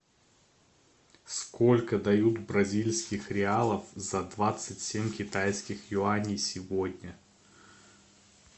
сколько дают бразильских реалов за двадцать семь китайских юаней сегодня